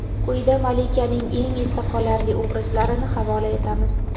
Quyida malikaning eng esda qolarli obrazlarini havola etamiz.